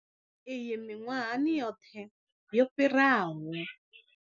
Iyi miṅwahani yoṱhe yo fhiraho.